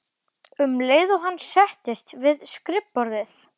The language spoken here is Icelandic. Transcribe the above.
um leið og hann settist við skrifborðið.